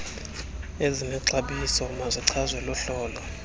ezinexabiso mazichazwe luhlolo